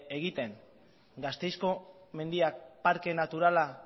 egiten gasteizko mendiak parke naturala